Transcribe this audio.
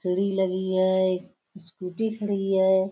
लगी है। एक स्कूटी खड़ी है।